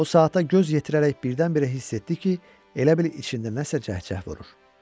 O saata göz yetirərək birdən-birə hiss etdi ki, elə bil içində nəsə cəhcəh vurur.